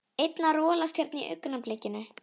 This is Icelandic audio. Einn að rolast hérna í augnablikinu.